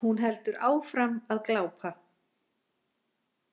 Hún heldur áfram að glápa.